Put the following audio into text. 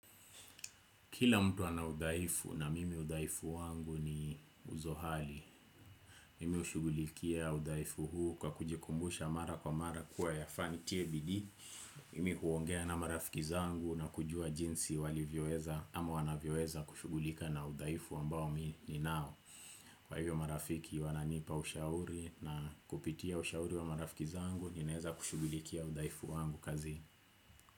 Kila mtu ana udhaifu na mimi udhaifu wangu ni uzohali Mimi hushughulikia udhaifu huu kwa kujikumbusha mara kwa mara kuwa yafaa nitie bidii Mimi kuongea na marafiki zangu na kujua jinsi walivyoweza ama wanavyoweza kushughulika na udhaifu ambao ninao kwa hivyo marafiki wananipa ushauri na kupitia ushauri wa marafiki zangu ninaeza kushughulikia udhaifu wangu kazini.